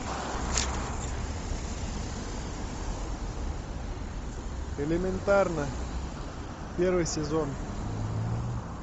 элементарно первый сезон